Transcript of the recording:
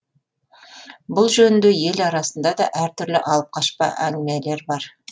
бұл жөнінде ел арасында да әртүрлі алып қашпа әңгімелер бар